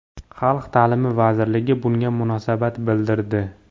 Xalq ta’limi vazirligi bunga munosabat bildirdi.